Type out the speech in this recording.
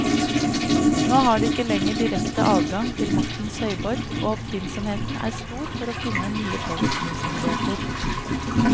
Nå har de ikke lenger direkte adgang til maktens høyborg, og oppfinnsomheten er stor for å finne nye påvirkningsmuligheter.